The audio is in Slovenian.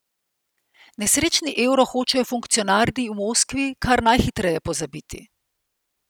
Nesrečni euro hočejo funkcionarji v Moskvi kar najhitreje pozabiti.